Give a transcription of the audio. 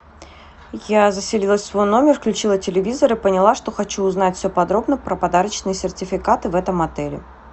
я заселилась в свой номер включила телевизор и поняла что хочу узнать все подробно про подарочные сертификаты в этом отеле